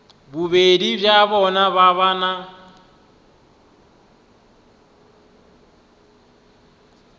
bobedi bja bona ba na